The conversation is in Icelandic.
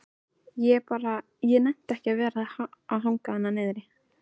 Ég bara. ég nennti ekki að hanga þarna niðri.